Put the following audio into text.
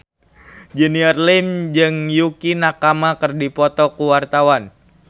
Junior Liem jeung Yukie Nakama keur dipoto ku wartawan